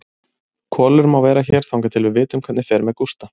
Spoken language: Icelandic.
Kolur má vera hér þangað til við vitum hvernig fer með Gústa.